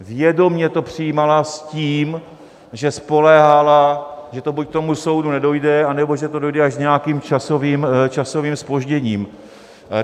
Vědomě to přijímala s tím, že spoléhala, že to buď k soudu nedojde, anebo že to dojde až s nějakým časovým zpožděním.